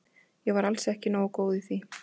Ég var alls ekki góð í því.